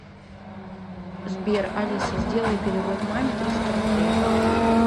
сбер алиса сделай перевод маме триста рублей